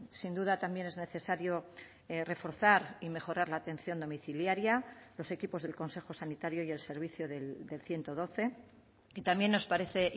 sin duda también es necesario reforzar y mejorar la atención domiciliaria los equipos del consejo sanitario y el servicio del ciento doce y también nos parece